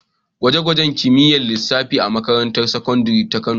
An inganta ɗakin gwaje-gwajen kimiyyar lissafi a makarantar sakandare ta Kano.